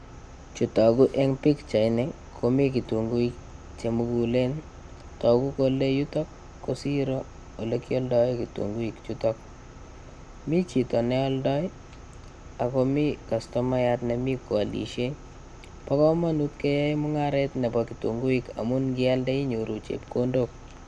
Chutoku eng' pikchaini komi kitunguik chemugulen toku kole yuto ko siro ole kioldoe kitunguik chuto mi chito neoldoi akomi kastomayat nemi koolishei bo kamanut keyoei mung'aret nebo kitunguik amun ngialde inyoru chepkondok